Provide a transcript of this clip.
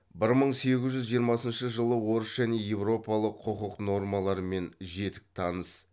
бір мың сегіз жүз жиырмасыншы жылы орыс және европалық құқық нормаларымен жетік таныс